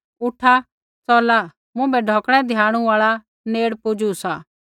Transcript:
उठा च़ला मुँभै ढौकणै द्याणू आल़ा नेड़ पुजू सा